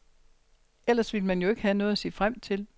Ellers ville man jo ikke have noget at se frem til.